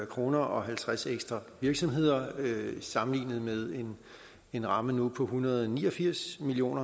kroner og halvtreds ekstra virksomheder sammenlignet med en ramme nu på en hundrede og ni og firs million